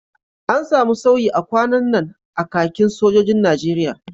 An samu sauyi a kwanan nan a kakin sojojin Najeriya